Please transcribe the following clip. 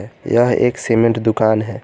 यह एक सीमेंट दुकान है।